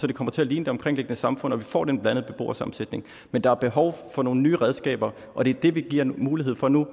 det kommer til at ligne det omkringliggende samfund og vi får den blandede beboersammensætning men der er behov for nogle nye redskaber og det er det vi giver mulighed for nu